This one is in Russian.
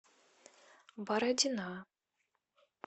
бородина